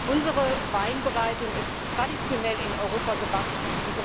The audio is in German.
Unsere Weinbereitung ist traditionell in Europa gewachsen.